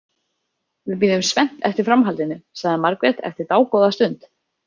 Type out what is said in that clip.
Við bíðum spennt eftir framhaldinu, sagði Margrét eftir dágóða stund.